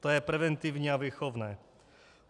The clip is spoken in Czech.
To je preventivní a výchovné.